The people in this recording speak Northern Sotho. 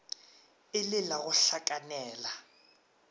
e le la go hlakanela